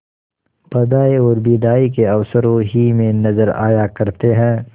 बधाई और बिदाई के अवसरों ही में नजर आया करते हैं